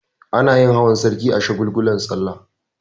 Anayin hawan sarki a shagulgulan sallah